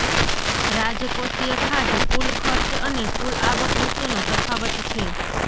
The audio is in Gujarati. રાજકોષીય ખાધ કુલ ખર્ચ અને કુલ આવક વચ્ચેનો તફાવત છે